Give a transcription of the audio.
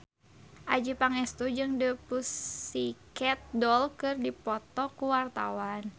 Adjie Pangestu jeung The Pussycat Dolls keur dipoto ku wartawan